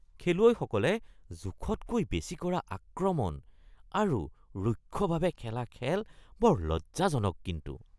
খেলুৱৈসকলে জোখতকৈ বেছি কৰা আক্ৰমণ আৰু ৰুক্ষভাৱে খেলা খেল বৰ লজ্জাজনক কিন্তু